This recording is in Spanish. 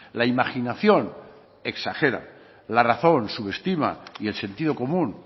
la imaginación exagera la razón subestima y el sentido común